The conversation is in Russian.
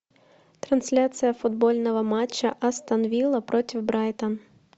трансляция футбольного матча астон вилла против брайтон